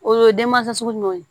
O ye den mansa sugu ninnu ye